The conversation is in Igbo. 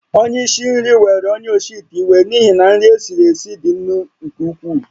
Onye isi nri were onye osi ite iwe n’ihi na nri e siri esi dị nnu nke ukwuu